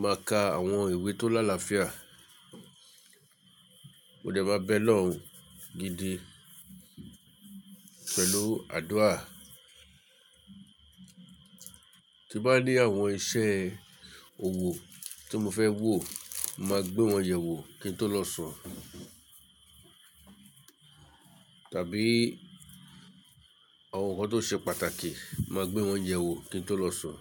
máa ka àwọn ìwé tó lálafíà. Mo dẹ̀ máa bẹ lọ́hun gidi pẹ̀lú àdúrà. Tí bá ní àwọn iṣẹ́ òwò tí mo fẹ́ wò, màá gbé wọn yẹ wò kí n tó lọ sùn tàbí àwọn nǹkan tó ṣe pàtàkì, màá gbé wọn yẹ wò kí n tó lọ sùn.